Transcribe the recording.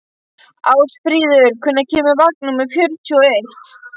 Ásfríður, hvenær kemur vagn númer fjörutíu og eitt?